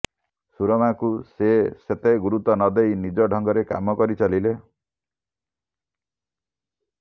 ସୁରମାଙ୍କୁ ସେ ସେତେ ଗୁରୁତ୍ୱ ନଦେଇ ନିଜ ଢଙ୍ଗରେ କାମ କରି ଚାଲିଲେ